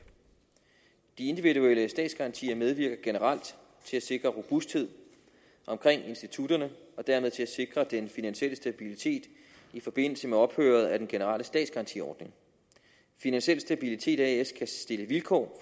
de individuelle statsgarantier medvirker generelt til at sikre robusthed omkring institutterne og dermed til at sikre den finansielle stabilitet i forbindelse med ophøret af den generelle statsgarantiordning finansiel stabilitet as kan stille vilkår